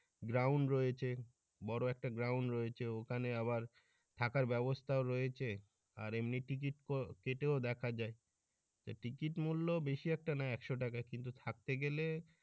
ground রয়েছে বড় একটা ground রয়েছে ওখানে আবার থাকার ব্যাবস্থাও রয়েছে আর এমনিতে টিকেট কেটে দেখা যায় এ টিকিট মূল্য বেশি একটা না একশ টাকা কিন্তু থাকতে গেলে।